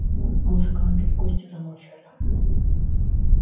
музыканты и гости замолчали